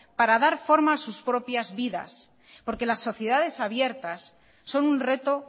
para dar forma a sus propias vidas porque las sociedades abiertas son un reto